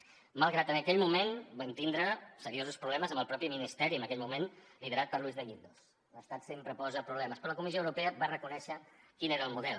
malgrat que en aquell moment vam tindre seriosos problemes amb el mateix ministeri en aquell moment liderat per luis de guindos l’estat sempre posa problemes però la comissió europea va reconèixer quin era el model